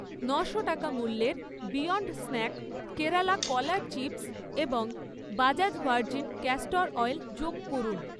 ন'শো টাকা মূল্যের beyond snack Kerala কলার চিপস্ এবং বাজাজ ভার্জিন ক্যাস্টর অয়েল যোগ করুন